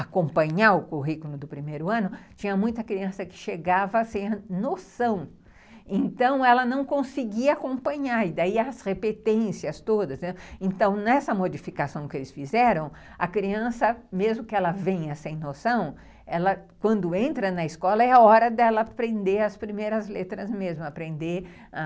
acompanhar o currículo do primeiro ano tinha muita criança que chegava sem noção então ela não conseguia acompanhar e daí as repetências todas, né, então nessa modificação que eles fizeram a criança mesmo que ela venha sem noção, ela quando entra na escola é a hora dela aprender as primeiras letras mesmo aprender a